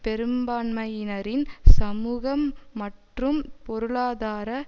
பெரும்பான்மையினரின் சமூக மற்றும் பொருளாதார